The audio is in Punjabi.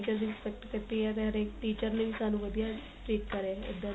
teacher ਦੀ respect ਕੀਤੀ ਏ ਤੇ ਹਰੇਕ teacher ਲਈ ਵੀ ਸਾਨੂੰ ਵਧੀਆ teach ਕਰੇ